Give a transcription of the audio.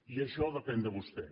i això depèn de vostè